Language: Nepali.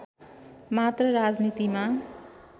मात्र राजनीतिमा